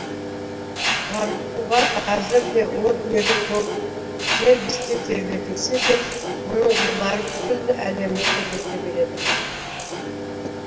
марфуға қазірде о дүниелік болып жер бесікте тербетілсе де оның жырлары күллі әлемді тербете береді